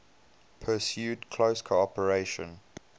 pursued close cooperation